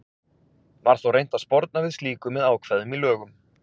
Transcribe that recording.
Var þó reynt að sporna við slíku með ákvæðum í lögum.